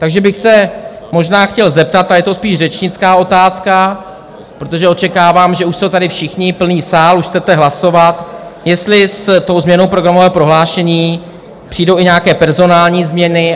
Takže bych se možná chtěl zeptat - a je to spíš řečnická otázka, protože očekávám, že už jsou tady všichni, plný sál, už chcete hlasovat - jestli s tou změnou programového prohlášení přijdou i nějaké personální změny.